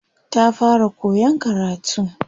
Ta fara koyan karatu.